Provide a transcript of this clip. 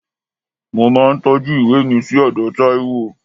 Mo máa ń tọ́jú ìwé mi sí ọ̀dọ̀ Taiwo